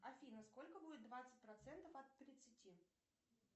афина сколько будет двадцать процентов от тридцати